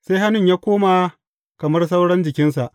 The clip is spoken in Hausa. sai hannun ya koma kamar sauran jikinsa.